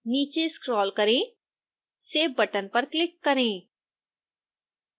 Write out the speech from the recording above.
नीचे स्क्रोल करें save button पर क्लिक करें